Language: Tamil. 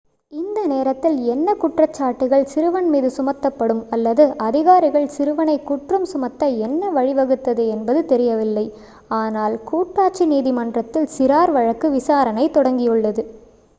இந்த நேரத்தில் என்ன குற்றச்சாட்டுகள் சிறுவன் மீது சுமத்தப்படும் அல்லது அதிகாரிகள் சிறுவனைக் குற்றம் சுமத்த என்ன வழிவகுத்தது என்பது தெரியவில்லை ஆனால் கூட்டாட்சி நீதிமன்றத்தில் சிறார் வழக்கு விசாரணை தொடங்கியுள்ளது